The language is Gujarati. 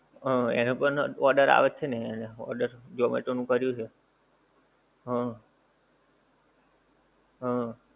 હા એને પણ order આવે જ છે ને એને order zomato નું કર્યું છે હમ હમ